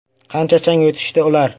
Qancha chang yutishdi ular?!